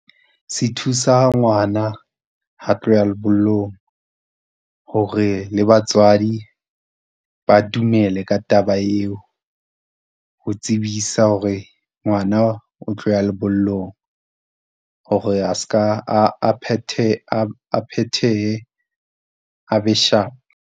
Se thusa ngwana ha a tlo ya lebollong hore le batswadi ba dumele ka taba eo. Ho tsebisa hore ngwana o tlo ya lebollong, hore a seka a phethehe a be sharp.